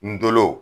Ndolo